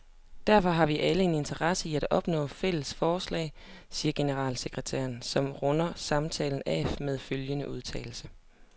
Derfor har vi alle en interesse i at opnå fælles fodslag, siger generalsekretæren, som runder samtalen af med følgende udtalelse.